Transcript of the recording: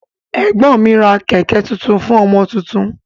Ẹgbọn mi ra kẹkẹ tuntun fún ọmọ tuntun.